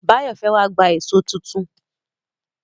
Báyọ̀ fẹ́ wá gba èṣó tuntun.